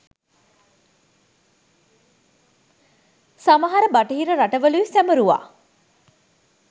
සමහර බටහිර රටවලුයි සැමරුවා